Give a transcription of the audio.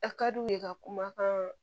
A ka di u ye ka kumakan